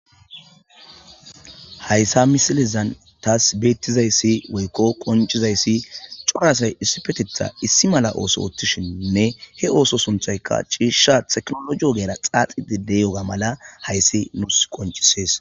Hayssa misilizan taas beettizayssi woykko qoncizayssi corasay issifetetha issi mala ooso oottishininne he ooso sunthayka ciisha teknologiyo geera xaaxidi de yoga mala hayssi nuus qoncisees